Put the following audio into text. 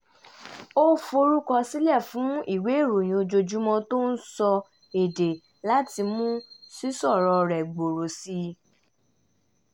ó forúkọsílẹ̀ fún ìwé ìròyìn ojoojúmọ́ tó ń sọ èdè láti mú sísọ̀rọ̀ rẹ̀ gbòòrò sí i